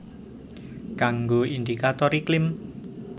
Kanggo indikator iklim